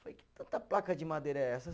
Falei, que tanta placa de madeira é essa?